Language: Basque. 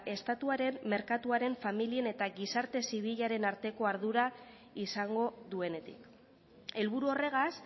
estatuaren merkatuaren familien eta gizarte zibilaren arteko ardura izango duenetik helburu horregaz